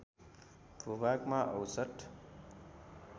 भूभागमा औसत